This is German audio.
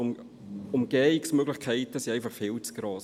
Die Umgehungsmöglichkeiten wären viel zu gross.